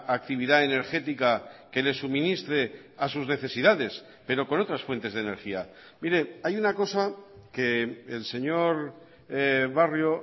actividad energética que le suministre a sus necesidades pero con otras fuentes de energía mire hay una cosa que el señor barrio